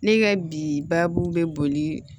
Ne ka bi baabu bɛ boli